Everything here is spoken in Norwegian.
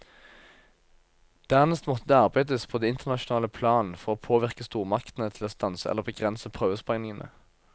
Dernest måtte det arbeides på det internasjonale plan for å påvirke stormaktene til å stanse eller begrense prøvesprengningene.